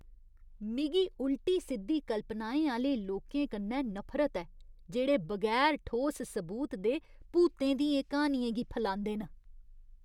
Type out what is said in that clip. मिगी उल्टी सिद्धी कल्पनाएं आह्‌ले लोकें कन्नै नफरत ऐ जेह्ड़े बगैर ठोस सबूत दे भूतें दियें क्हानियें गी फलांदे न।